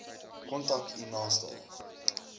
kontak u naaste